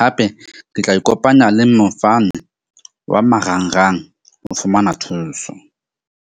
Hape ke tla ikopanya le mofani wa marangrang ho fumana thuso.